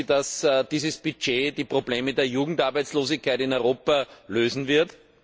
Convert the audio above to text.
Glauben Sie, dass dieses Budget die Probleme der Jugendarbeitslosigkeit in Europa lösen wird?